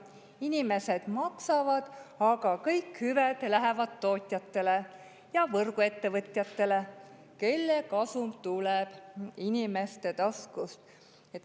Inimesed maksavad, aga kõik hüved lähevad tootjatele ja võrguettevõtjatele, kelle kasum tuleb inimeste taskust.